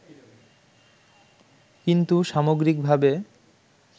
কিন্তু সামগ্রিকভাবে